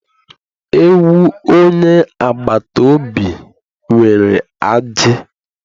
Ewu onye agbata obi nwere ajị